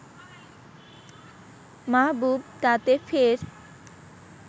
মাহবুব তাতে ফের